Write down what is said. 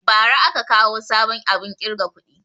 Bara aka kawo sabon abun ƙirga kuɗi